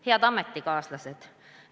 Head ametikaaslased!